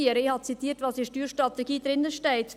Ich habe zitiert, was in der Steuerstrategie steht.